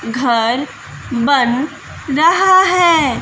घर बन रहा है।